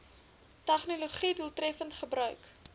tegnologië doeltreffend gebruik